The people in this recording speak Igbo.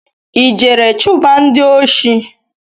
I jere chuba ndị oshi?